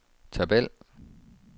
tabel